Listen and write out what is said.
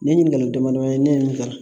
Nin ye ɲininkali damadama ye ne ye nin fɛ